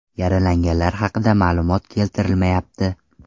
Yaralanganlar haqida ma’lumot keltirilmayapti.